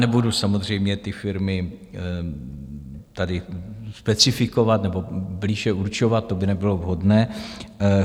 Nebudu samozřejmě ty firmy tady specifikovat nebo blíže určovat, to by nebylo vhodné.